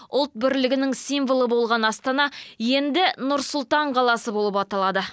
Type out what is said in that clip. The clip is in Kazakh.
ұлт бірлігінің символы болған астана енді нұр сұлтан қаласы болып аталады